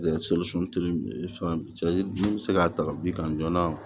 bɛ se ka ta bin kan joona